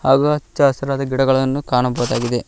ಹಾಗು ಅಚ್ಚ ಹಸಿರಾದ ಗಿಡಗಳನ್ನು ಕಾಣಬಹುದಾಗಿದೆ.